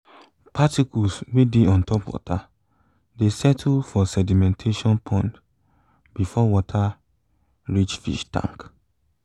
particles wey dey ontop water dey settle for sedimentation pond before water reach fish tank